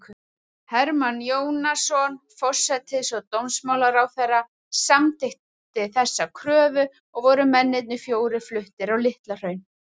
Hermann Jónasson, forsætis- og dómsmálaráðherra, samþykkti þessa kröfu, og voru mennirnir fjórir fluttir á Litlahraun.